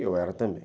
E eu era também.